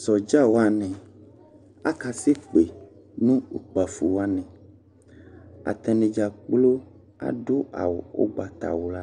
Sɔdza wanɩ aka sekpe nʋ ukpǝfo wanɩAtanɩ dza kplo adʋ awʋ ʋgbatawla